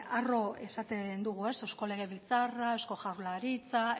arro esaten dugu eusko legebiltzarra eusko jaurlaritza